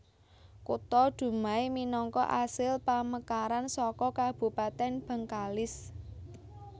Kutha Dumai minangka asil pamekaran saka Kabupatèn Bengkalis